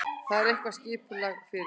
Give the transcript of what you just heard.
Þar er eitthvað skipulag fyrir.